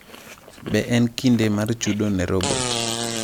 Be en kinde mar chudo ne robot?